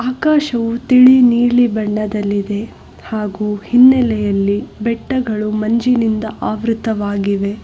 ಆಕಾಶವು ತಿಳಿ ನೀಲಿ ಬಣ್ಣದಲ್ಲಿದೆ ಹಾಗು ಹಿನ್ನಲೆಯಲ್ಲಿ ಬೆಟ್ಟಗಳು ಮಂಜಿನಿಂದ ಆವೃತವಾಗಿವೆ.